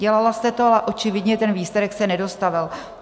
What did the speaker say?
Dělala jste to a očividně ten výsledek se nedostavil.